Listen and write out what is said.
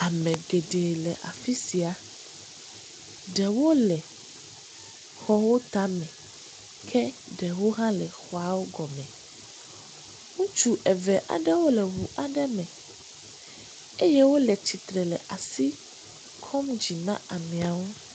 Ame geɖe le afi sia, ɖewo le xɔawo tame eye ɖewo hã le xɔawo gɔme. Ŋutsu eve aɖewo le ŋu aɖe me eye wole tsitre le asi kɔm dzi na ameawo.